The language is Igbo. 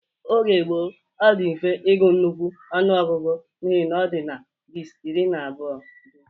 Oge gboo, ọ dị mfe igu nnukwu ọṅụogugu n'ihi na ọ dị na-besi iri na abụọ